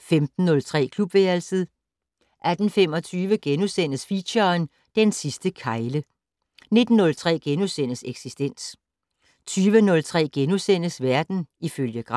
15:03: Klubværelset 18:25: Feature: Den sidste kegle * 19:03: Eksistens * 20:03: Verden ifølge Gram *